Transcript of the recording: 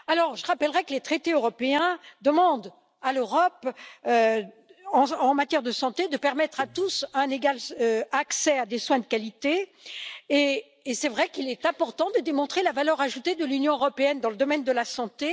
Je rappellerai que les traités européens demandent à l'Europe, en matière de santé, de permettre à tous un égal accès à des soins de qualité et il est effectivement important de démontrer la valeur ajoutée de l'Union européenne dans le domaine de la santé.